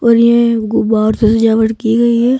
और ये गुब्बारों से सजावट की गई है।